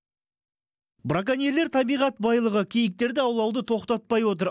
браконьерлер табиғат байлығы киіктерді аулауды тоқтатпай отыр